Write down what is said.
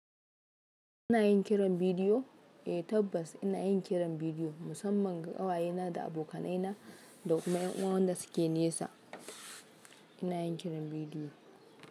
Ina yin kiran bidiyo? Eh tabbas ina yin kiran bidiyo musamman ga ƙawayena da abokanaina da kuma 'yan'uwan da suke nesa. Ina yin kiran bidiyo.